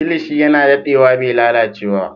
Kilishi yana daɗewa bai lalace ba.